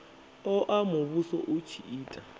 oa muvhuso u tshi ita